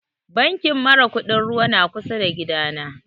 Bankin mara kuɗin ruwa na kusa da gida na